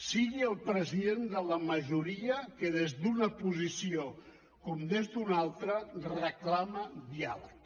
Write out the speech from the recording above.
sigui el president de la majoria que des d’una posició com des d’una altra reclama diàleg